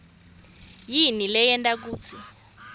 yini leyenta kutsi